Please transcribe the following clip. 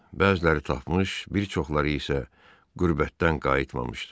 Bəziləri tapmış, bir çoxları isə qürbətdən qayıtmamışdı.